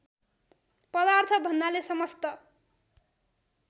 पदार्थ भन्नाले समस्त